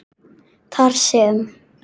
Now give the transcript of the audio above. þar sem